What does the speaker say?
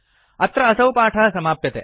अत्र असौ पाठः समाप्यते